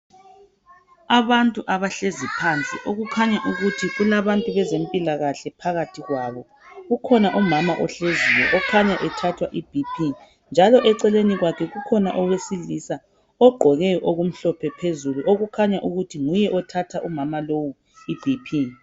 Abantu abahlezi phansi okukhanya ukuthi kulabantu bezempilakahle phakathi kwabo. Kukhona umama ohleziyo okhanya ethathwa i"BP" njalo eceleni kwakhe kukhona owesilisa ogqoke okumhlophe phezulu okukhanya ukuthi nguye othatha umama lowu i"BP".